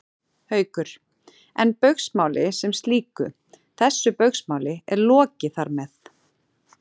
Haukur: En Baugsmáli sem slíku, þessu Baugsmáli er lokið þar með?